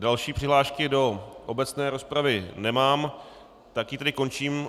Další přihlášky do obecné rozpravy nemám, tak ji tedy končím.